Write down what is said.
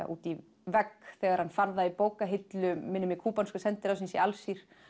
út í vegg þegar hann fann það í bókahillu minnir mig kúbanska sendiráðsins í Alsír